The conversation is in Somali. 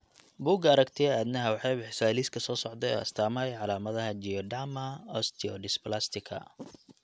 Bugga Aragtiyaha Aadanaha waxay bixisaa liiska soo socda ee astaamaha iyo calaamadaha Geroderma osteodysplastica.